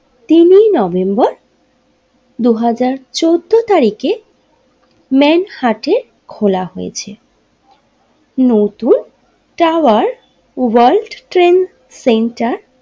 তিনই November দুহাজার চোদ্দো তারিখে ম্যানহার্টে খোলা হয়েছে নতুন টাওয়ার ওয়ার্ল্ড ট্রেড সেন্টার।